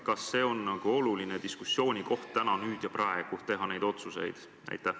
Kas see on oluline diskussioonikoht teha täna, nüüd ja praegu neid otsuseid?